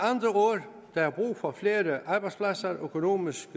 der brug for flere arbejdspladser økonomisk